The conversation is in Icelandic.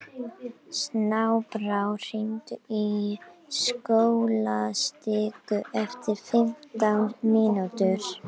Snæbrá, hringdu í Skólastíku eftir fimmtán mínútur.